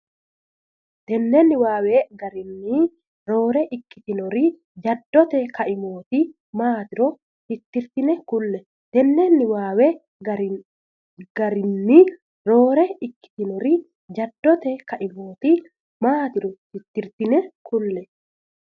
Tenne niwaawe garinni roore ikkitinori jaddote kaimooti maatiro tittirtine kulle Tenne niwaawe garinni roore ikkitinori jaddote kaimooti maatiro tittirtine kulle.